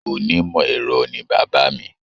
Onímọ̀ ẹ̀rọ ni bàbá mi.